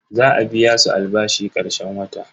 Za a biya su albashi karshen wata.